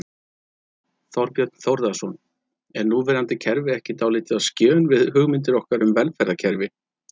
Þorbjörn Þórðarson: Er núverandi kerfi ekki dálítið á skjön við hugmyndir okkar um velferðarkerfi?